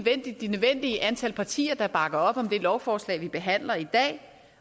det nødvendige antal partier til at bakke op om det lovforslag vi behandler i dag